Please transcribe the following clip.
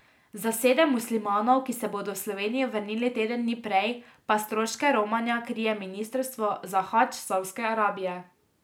Za sedem muslimanov, ki se bodo v Slovenijo vrnili teden dni prej, pa stroške romanja krije ministrstvo za hadž Savdske Arabije.